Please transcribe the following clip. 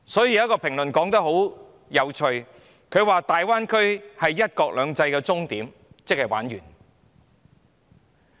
因此，曾有評論指大灣區是"一國兩制"的終點，即完結的意思。